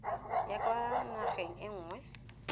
ya kwa nageng e nngwe